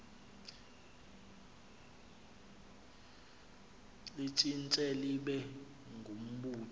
litshintshe libe ngumbutho